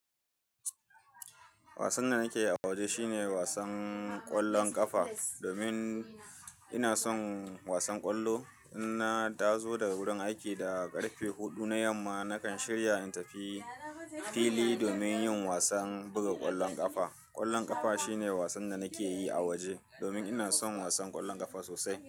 Wasan da nake yi a waje shine wasan ƙwallon ƙafa domin ina son wasan ƙwallo. In na taso daga wurin aiki da ƙarfe huɗu na yamma, nakan shirya in tafi fili domin yin wasan buga ƙwallon ƙafa. Ƙwallon ƙafa shine wasan da nake yi a waje domin ina son wasan ƙwallon ƙafa sosai.